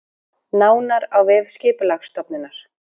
Nánar á vef Skipulagsstofnunar